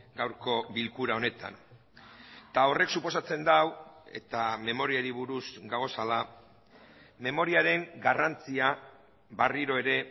gaurko bilkura honetan eta horrek suposatzen du eta memoriari buruz gaudela memoriaren garrantzia berriro ere